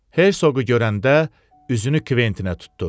Herseqi görəndə üzünü Kventinə tutdu.